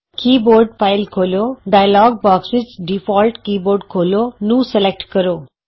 ਕੀ board file ਖੋਲ੍ਹੋ dialog box ਵਿਚ default keyboard ਖੋਲ੍ਹੋ ਨੂੰ ਸਲੈਕਟ ਕਰੋ